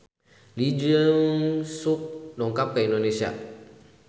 Lee Jeong Suk dongkap ka Indonesia